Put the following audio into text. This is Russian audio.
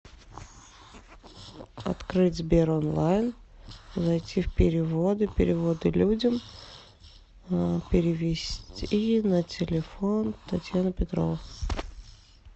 открыть сбер онлайн зайти в переводы переводы людям перевести на телефон татьяны петровой